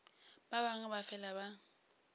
ba bangwe ba fela ba